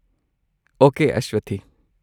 Okay, Aswathi.